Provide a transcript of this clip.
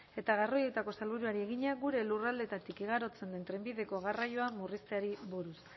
eta garraioetako sailburuari egina gure lurraldeetatik igarotzen den trenbideko garraioa murrizteari buruz